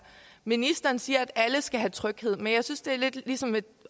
ministeren siger at alle skal have tryghed men jeg synes at det lidt er ligesom et